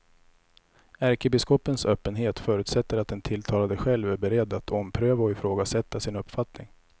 Ärkebiskopens öppenhet förutsätter att den tilltalade själv är beredd att ompröva och ifrågasätta sin uppfattning.